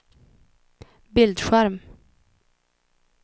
bildskärm